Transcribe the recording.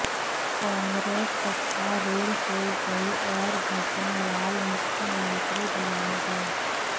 कांग्रेस सत्तारूढ़ हो गई और भजनलाल मुख्यमंत्री बनाए गए